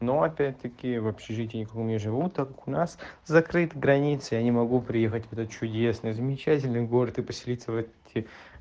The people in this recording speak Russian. но опять-таки в общежитии никаком не живу так как у нас закрыты границы я не могу приехать в этот чудесный и замечательный город и поселиться в эти